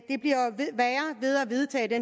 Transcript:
vedtage det